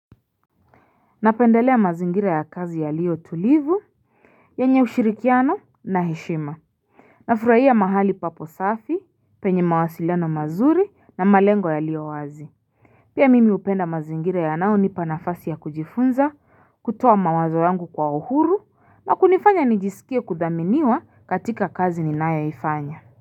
Napendelea mazingira ya kazi yaliyo tulivu yenye ushirikiano na heshima Nafurahia mahali papo safi penye mawasiliano mazuri na malengo yaliyo wazi Pia mimi hupenda mazingira yanayonipa nafasi ya kujifunza kutoa mawazo yangu kwa uhuru na kunifanya nijisikie kudhaminiwa katika kazi ninayoifanya.